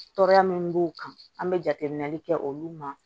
Tɔɔrɔya min b'u kan an be jateminɛli kɛ olu ma